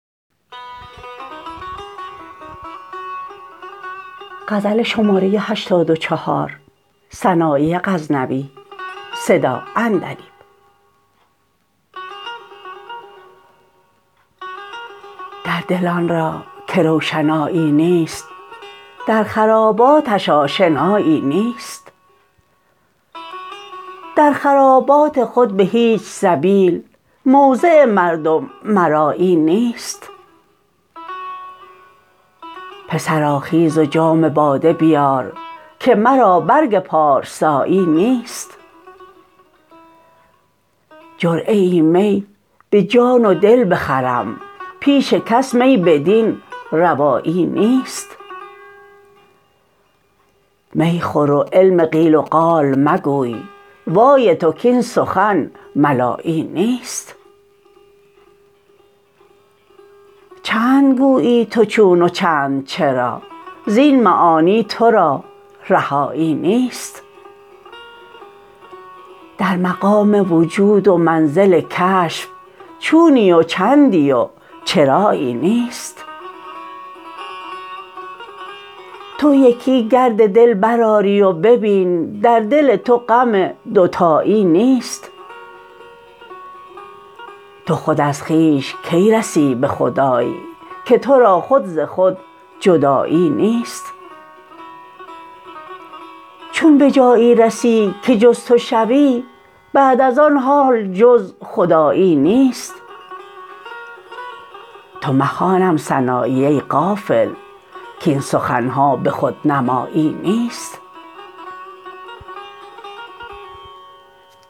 در دل آن را که روشنایی نیست در خراباتش آشنایی نیست در خرابات خود به هیچ سبیل موضع مردم مرایی نیست پسرا خیز و جام باده بیار که مرا برگ پارسایی نیست جرعه ای می به جان و دل بخرم پیش کس می بدین روایی نیست می خور و علم قیل و قال مگوی وای تو کاین سخن ملایی نیست چند گویی تو چون و چند چرا زین معانی ترا رهایی نیست در مقام وجود و منزل کشف چونی و چندی و چرایی نیست تو یکی گرد دل برآی و ببین در دل تو غم دوتایی نیست تو خود از خویش کی رسی به خدای که ترا خود ز خود جدایی نیست چون به جایی رسی که جز تو شوی بعد از آن حال جز خدایی نیست تو مخوانم سنایی ای غافل کاین سخنها به خودنمایی نیست